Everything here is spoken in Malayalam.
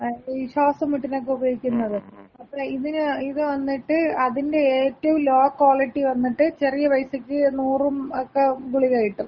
ഈ ശ്വാസം മുട്ടിനക്ക ഉപയോഗിക്കുന്നത്. ഇതിനെ ഇത് വന്നിട്ട് അതിന്‍റെ ഏറ്റവും ലോ ക്വാളിറ്റി വന്നിട്ട് ചെറിയ പൈസയ്ക്ക് നൂറും ഒക്ക ഗുളിക കിട്ടും.